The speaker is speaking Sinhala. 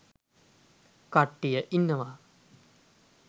කට්ටිය ඉන්නව.